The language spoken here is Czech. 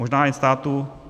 Možná jen státu.